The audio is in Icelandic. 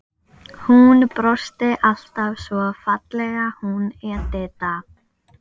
Hún brosti alltaf svo fallega, hún Edita.